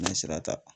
N ye sira ta